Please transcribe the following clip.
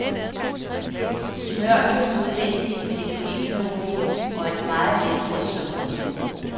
Smør dem udvendigt med lidt olivenolie og et meget let drys sukker.